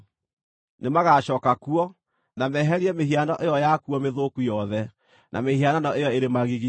“Nĩmagacooka kuo, na meeherie mĩhiano ĩyo yakuo mĩthũku yothe, na mĩhianano ĩyo ĩrĩ magigi.